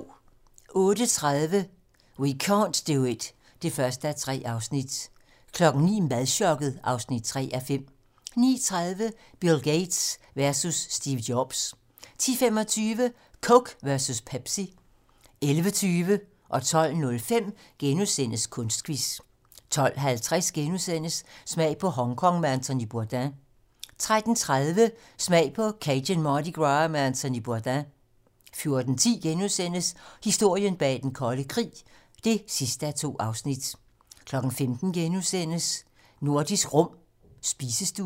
08:30: We can't do it (1:3) 09:00: Madchokket (3:5) 09:30: Bill Gates versus Steve Jobs 10:25: Coke versus Pepsi 11:20: Kunstquiz * 12:05: Kunstquiz * 12:50: Smag på Hongkong med Anthony Bourdain * 13:30: Smag på Cajun Mardi Gras med Anthony Bourdain 14:10: Historien bag den kolde krig (2:2)* 15:00: Nordisk Rum - spisestuen *